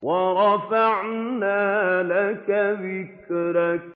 وَرَفَعْنَا لَكَ ذِكْرَكَ